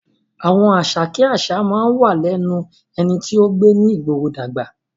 Àwọn àṣà kí àṣà máa ń wà lẹ́nu ẹni tó gbé ìgboro dàgbà